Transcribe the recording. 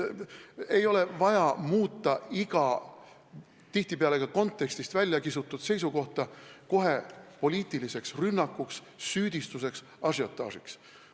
Ei ole vaja muuta iga, tihtipeale ka kontekstist väljakistud seisukohta kohe poliitiliseks rünnakuks, süüdistuseks, ažiotaažiks.